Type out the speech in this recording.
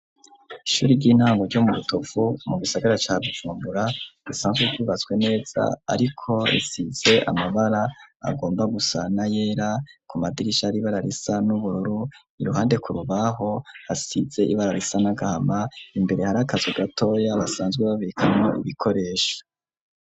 Ishure ry'intango ryo mu rutovu mu bisagara ca Bujumbura bisanzwe vyubatswe neza ariko risize amabara agomba gusana na yera ku madirisha ibara risa n'ubururu iruhande kurubaho hasize ibara risa n'agahama imbere hari akazu ga toya basanzwe babikamwo ibikoresho.